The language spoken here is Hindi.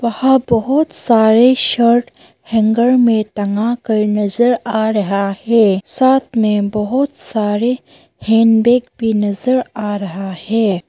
वहां बहुत सारे शर्ट हैंगर में टंगा कर नजर आ रहा है साथ में बहुत सारे हैंडबैग भी नजर आ रहा है।